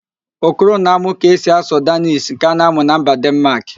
Okoro na-amụ ka esi asụ Dannish nke a na-asụ na mba Denmaak